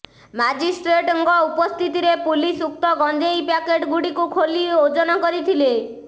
magistrate ଙ୍କ ଉପସ୍ଥିତିରେ police ଉକ୍ତ ଗଜେଂଇ ପ୍ୟାକେଟ ଗୁଡିକୁ ଖୋଲି ଓଜନ କରିଥିଲେ